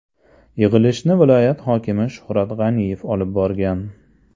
Yig‘ilishni viloyat hokimi Shuhrat G‘aniyev olib borgan.